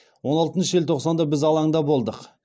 он алтыншы желтоқсанда біз алаңда болдық